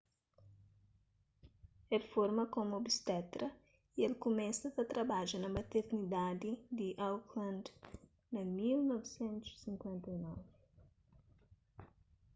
el forma komu obstetra y el kumesa ta trabadja na maternidadi di auckland na 1959